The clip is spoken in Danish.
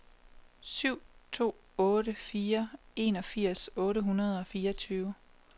syv to otte fire enogfirs otte hundrede og fireogtyve